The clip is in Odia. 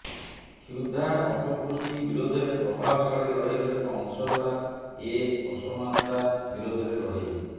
କ୍ଷୁଧା ଅପପୁଷ୍ଟି ବିରୋଧରେ ପ୍ରଭାବଶାଳୀ ଲଢ଼େଇର ଏକ ଅଂଶ ହେଲା ଏ ଅସମାନତା ବିରୋଧରେ ଲଢ଼େଇ